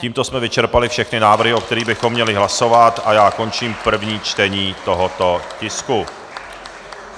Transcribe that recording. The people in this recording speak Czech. Tímto jsme vyčerpali všechny návrhy, o kterých bychom měli hlasovat, a já končím první čtení tohoto tisku.